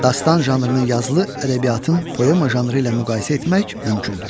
Dastan janrını yazılı ədəbiyyatın poema janrı ilə müqayisə etmək mümkündür.